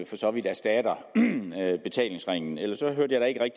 for så vidt erstatter betalingsringen for ellers hørte jeg